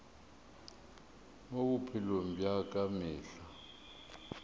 mo bophelong bja ka mehla